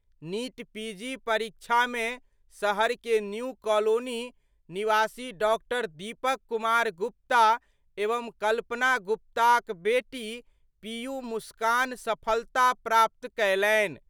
NEET PG परीक्षा में शहर के न्यू कालोनी निवासी डॉ दीपक कुमार गुप्ता एवं कल्पना गुप्ता क बेटी पीयू मुस्कान सफलता प्राप्त कयलनि।